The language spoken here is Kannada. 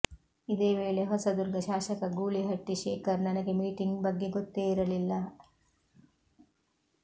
ಇದೇ ವೇಳೆ ಹೊಸದುರ್ಗ ಶಾಸಕ ಗೂಳಿಹಟ್ಟಿ ಶೇಖರ್ ನನಗೆ ಮೀಟಿಂಗ್ ಬಗ್ಗೆ ಗೊತ್ತೇ ಇರಲಿಲ್ಲ